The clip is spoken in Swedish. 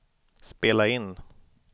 spela in